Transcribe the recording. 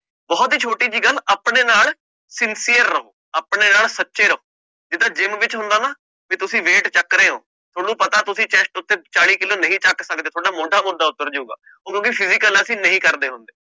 ਬਹੁਤ ਹੀ ਛੋਟੀ ਜਿਹੀ ਗੱਲ ਆਪਣੇ ਨਾਲ sincere ਰਹੋ ਆਪਣੇ ਨਾਲ ਸੱਚੇ ਰਹੋ ਜਿੱਦਾਂ gym ਵਿੱਚ ਹੁੰਦਾ ਨਾ ਵੀ ਤੁਸੀਂ weight ਚੁੱਕ ਰਹੇ ਹੋ, ਤੁਹਾਨੂੰ ਪਤਾ ਤੁਸੀਂ chest ਉੱਤੇ ਚਾਲੀ ਕਿੱਲੋਂ ਨਹੀਂ ਚੁੱਕ ਸਕਦੇ ਤੁਹਾਡਾ ਮੌਢਾ ਮੂਢਾ ਉੱਤਰ ਜਾਊਗਾ ਉਹਨੂੰ ਵੀ physical ਅਸੀਂ ਨਹੀਂ ਕਰਦੇ ਹੁੰਦੇ।